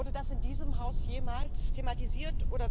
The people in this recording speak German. Wurde das in diesem Hause jemals thematisiert?